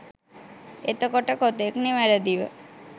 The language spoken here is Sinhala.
එතකොට කොතෙක් නිවැරදිව